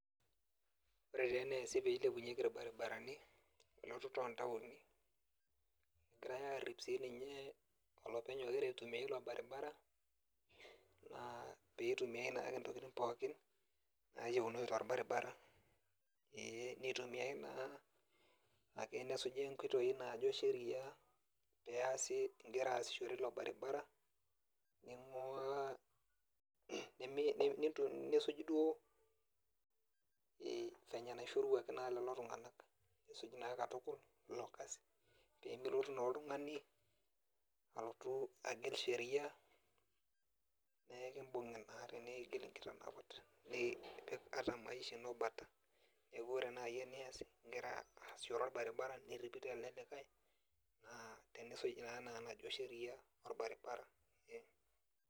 Ore taa eneesi peilepunyeki irbaribarani elototo ontaoni, egirai arrip sininye olopeny ogira aitumia ilo baribara, naa peitumiai naake ntokiting pookin nayiounoyu torbaribara, ee nitumiai naa ake nesuji inkoitoi najo sheria peas igira aasishore ilo baribara, ning'ua nisuj duo venye naishoruaki naa lelo tung'anak. Nisuj naa katukul, ilo kasi pemilotu naa oltung'ani alotu agil sheria, nekibung'i naa tenigil inkitanapat, nipik ata maisha ino bata. Neeku ore nai enias igira aasishore orbaribara nirripito ele likae, naa tenisuj naa naa enajo sheria, orbaribara.